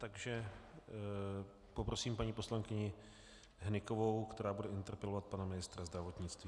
Takže poprosím paní poslankyni Hnykovou, která bude interpelovat pana ministra zdravotnictví.